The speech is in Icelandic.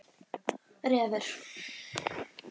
Refur